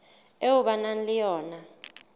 eo ba nang le yona